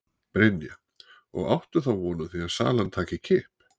Brynja: Og áttu þá von á því að salan taki kipp?